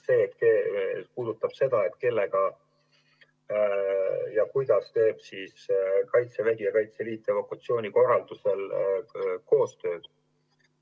See aga puudutab pigem seda, kellega ja kuidas teevad kaitsevägi ja Kaitseliit evakuatsiooni korraldamisel koostööd.